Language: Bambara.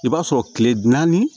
I b'a sɔrɔ kile naani